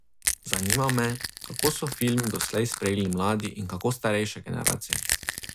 Zanima me, kako so film doslej sprejeli mladi in kako starejše generacije?